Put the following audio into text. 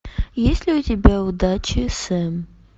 есть ли у тебя удачи сэм